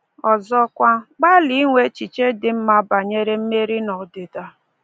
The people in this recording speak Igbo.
Ọzọkwa, gbalịa inwe echiche dị mma banyere mmeri na ọdịda.